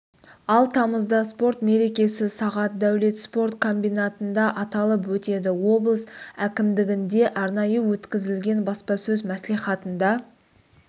ал тамызда спорт мерекесі сағат дәулет спорт комбинатында аталып өтеді облыс әкімдігінде арнайы өткізілген баспасөз мәслихатында